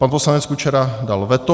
Pan poslanec Kučera dal veto.